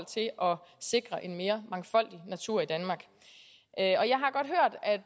sikre en mere mangfoldig natur i danmark